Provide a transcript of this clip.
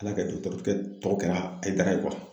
Ala ka dɔgɔtɔrɔkɛ tɔw kɛra Hayidara ye